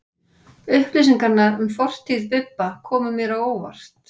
Upplýsingarnar um fortíð Bibba komu mér á óvart.